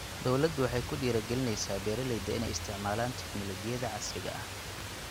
Dawladdu waxay ku dhiirigelinaysaa beeralayda inay isticmaalaan tignoolajiyada casriga ah.